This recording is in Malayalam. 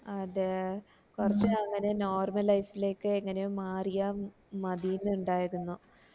അതെ കൊറച്ച് അങ്ങനെ normal life ലേക്ക് എങ്ങനെയോ മാറിയ മതീന്ന് ഇണ്ടായിരുന്നു